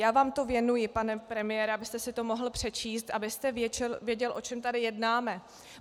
Já vám to věnuji, pane premiére, abyste si to mohl přečíst, abyste věděl, o čem tady jednáme.